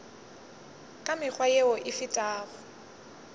ka mekgwa yeo e fetago